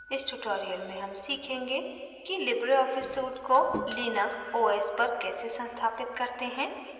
इस tutorial में हम सीखेंगे कि लिबरे ऑफिस suite को linux os पर कैसे संस्थापित करते हैं